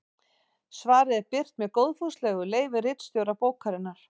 Svarið er birt með góðfúslegu leyfi ritstjóra bókarinnar.